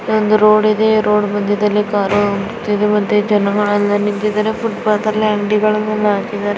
ಇಲ್ಲಿ ಒಂದು ರೋಡ್ ಇದೆ ರೋಡ್ ಮಧ್ಯದಲ್ಲಿ ಕಾರು ನಿಂತಿದೆ ಮತ್ತೆ ಜನಗಳೆಲ್ಲಾ ನಿಂತಿದ್ದಾರೆ ಫೂಟ್ಪಾಥ್ ಮೇಲೆ ಅಂಗಡಿಗಳನ್ನೆಲ್ಲಾ ಹಾಕಿದ್ದಾರೆ.